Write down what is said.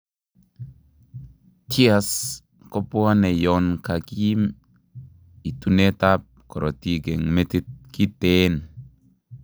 TIAs kobwonee yoon kakiim itunet ab korotik eng' metit kiteen